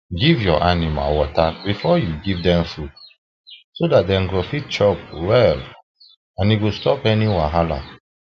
give ur animal water before you give them food so that them go fit chop well and e ho stop any wahal